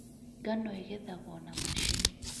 Ngano ĩgethagwo na macini.